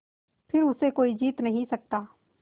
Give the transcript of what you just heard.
फिर उसे कोई जीत नहीं सकता